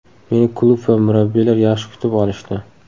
Meni klub va murabbiylar yaxshi kutib olishdi.